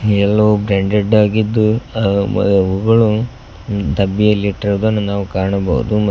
ಎಲ್ಲವು ಬ್ರಾಂಡೆಡ್ ಆಗಿದ್ದು ಅ ಮ ಅವುಗಳು ಡಬ್ಬಿಯಲ್ಲಿ ಇಟ್ಟಿರುವುದನ್ನು ನಾವು ಕಾಣಬಹುದು ಮ --